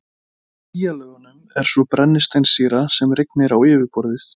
Í skýjalögunum er svo brennisteinssýra sem rignir á yfirborðið.